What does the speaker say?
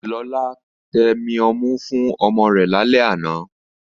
Lọlá tẹmi ọmú fún ọmọ rẹ̀ lálẹ́ àná